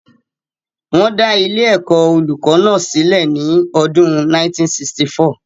Wọ́n dá ilé-ẹ̀kọ́ olùkó náà sílè ní ọdún 1964.